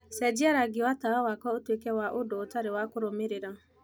cenjia rangi wa tawa wakwa utuike wa ũndũ ũtarĩ wa kũrũmĩrĩra